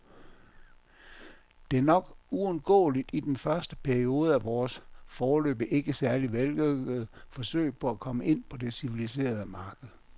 Det er nok uundgåeligt i den første periode af vores, foreløbig ikke særlig vellykkede, forsøg på at komme ind på det civiliserede marked.